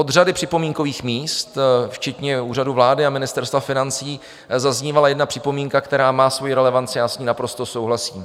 Od řady připomínkových míst, včetně Úřadu vlády a Ministerstva financí, zaznívala jedna připomínka, která má svoji relevanci, já s ní naprosto souhlasím.